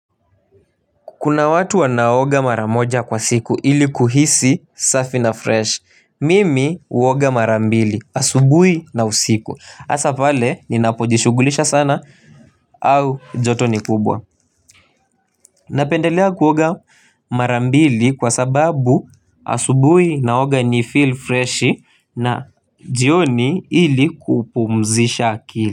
Kuna watu wanaoga mara moja kwa siku ili kuhisi safi na fresh mimi uoga mara mbili asubuhi na usiku hasa pale ninapojishughulisha sana au joto ni kubwa. Napendelea kuoga mara mbili kwa sababu asubuhi naoga ni feel fresh na jioni ili kupumzisha akili.